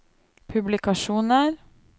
publikasjoner